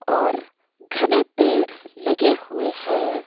और घरे पेड़ लगे हुए हैं।